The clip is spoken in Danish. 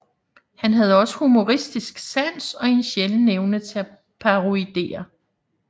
Han havde også humoristisk sans og en sjælden evne til at parodiere